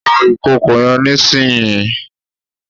Fo ìkòkò yen nísìnyí